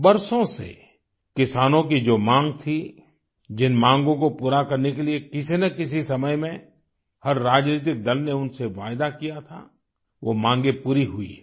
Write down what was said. बरसों से किसानों की जो माँग थी जिन मांगो को पूरा करने के लिए किसी न किसी समय में हर राजनीतिक दल ने उनसे वायदा किया था वो मांगे पूरी हुई हैं